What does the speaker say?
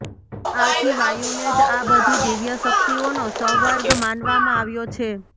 આથી વાયુને જ આ બધી દિવ્ય શક્તિઓનો સંવર્ગ માનવામાં આવ્યો છે